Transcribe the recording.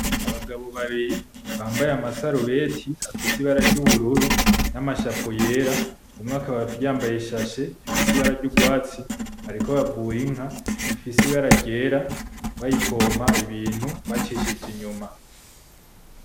Abagabo babiri bambaye amasarubeti afise ibara ry'ubururu nama "chapeau" yera , umwe akaba yambaye ishashe ifise ibara ry'urwatsi , bariko bavura inka rifise ibara ryera , bayipompa ibintu bacishije inyuma.